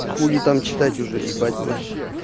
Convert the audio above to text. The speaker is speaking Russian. хули там читать уже ебать на хуй